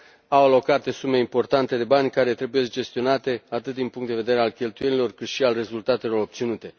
Au alocate sume importante de bani care trebuiesc gestionate, atât din punctul de vedere al cheltuielilor, cât și al rezultatelor obținute.